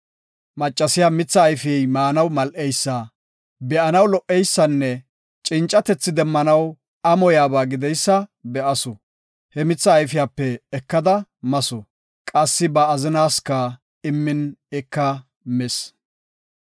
Maccasiya mitha ayfey maanaw mal7eysa, be7anaw lo77eysanne, cincatethi demmanaw amoyaba gideysa be7asu. He mitha ayfiyape ekada masu. Qassi ba azinaska immin ika mis.